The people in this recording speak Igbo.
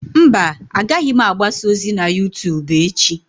Mba, agaghị m agbasa ozi na YouTubu echi.